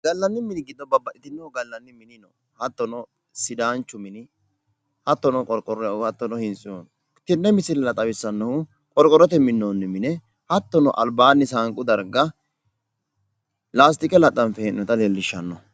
gallanni mini giddo babbaxxino gallanni mini hattono sidaanchu mini hattono qorqorrohu hattono hintsu no tenne misilera xawissahunno qorqorrotenni minnoonni mine hattono saanqu dargga albaanni laastike laxxanffe hee'noonnita xawissanno.